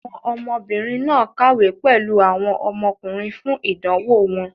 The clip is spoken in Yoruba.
Àwọn ọmọbìnrin náà kàwé pẹ̀lú àwọn ọmọkùnrin fún ìdánwò wọn.